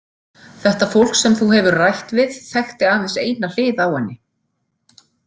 Þetta fólk sem þú hefur rætt við þekkti aðeins eina hlið á henni.